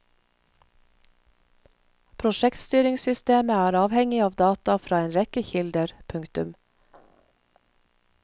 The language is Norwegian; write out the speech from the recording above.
Prosjektstyringssystemet er avhengig av data fra en rekke kilder. punktum